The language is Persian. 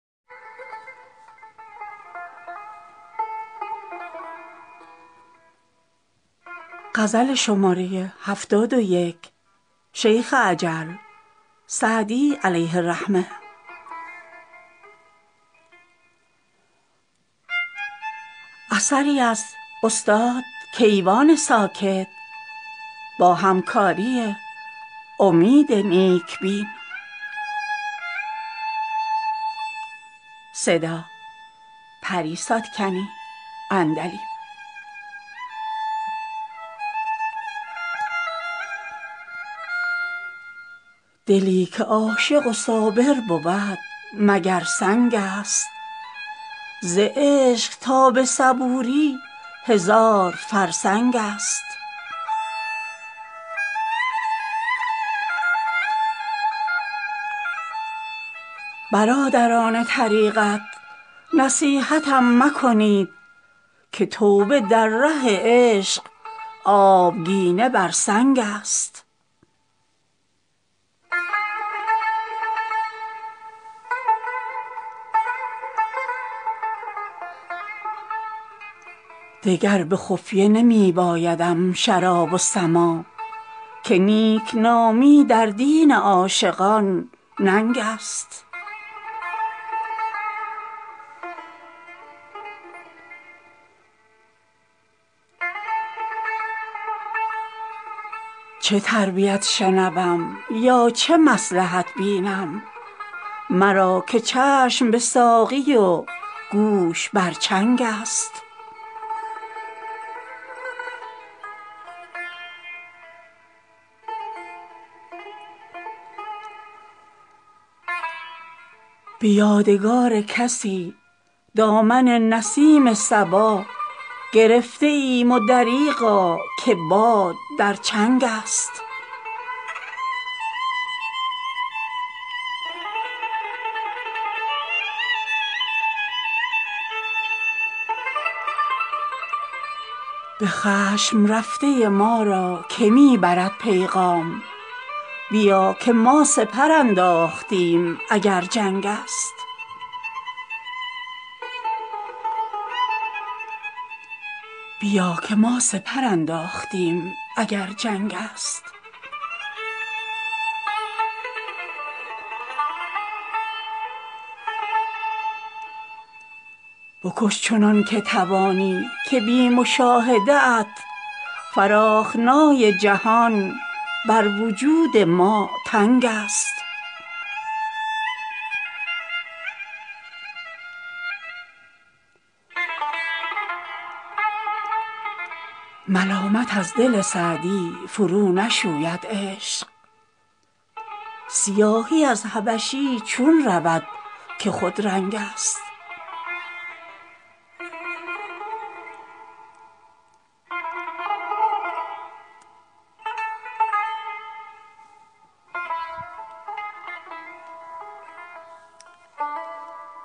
دلی که عاشق و صابر بود مگر سنگ است ز عشق تا به صبوری هزار فرسنگ است برادران طریقت نصیحتم مکنید که توبه در ره عشق آبگینه بر سنگ است دگر به خفیه نمی بایدم شراب و سماع که نیکنامی در دین عاشقان ننگ است چه تربیت شنوم یا چه مصلحت بینم مرا که چشم به ساقی و گوش بر چنگ است به یادگار کسی دامن نسیم صبا گرفته ایم و دریغا که باد در چنگ است به خشم رفته ما را که می برد پیغام بیا که ما سپر انداختیم اگر جنگ است بکش چنان که توانی که بی مشاهده ات فراخنای جهان بر وجود ما تنگ است ملامت از دل سعدی فرونشوید عشق سیاهی از حبشی چون رود که خودرنگ است